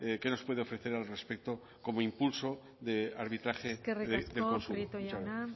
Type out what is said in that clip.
qué nos puede ofrecer al respecto como impulso de arbitraje de consumo muchas gracias eskerrik asko prieto jauna